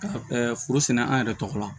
Ka foro sɛnɛ an yɛrɛ tɔgɔ la